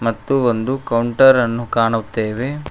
ಮತ್ತು ಒಂದು ಕೌಂಟರ್ ಅನ್ನು ಕಾಣುತ್ತೇವೆ.